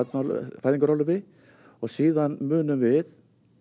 fæðingarorlofi síðan munum við